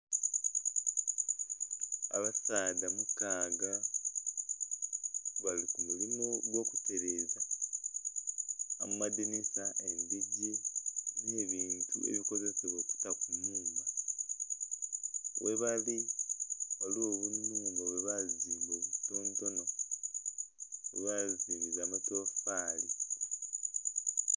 Abasaadha mukaaga bali ku mulimo ogw'okutereza amadinisa endhigi n'ebintu ebikozesebwa okuta ku nnhumba. Webali ghaligho obuyumba bwebazimba obutontono, bazimbisa matofaali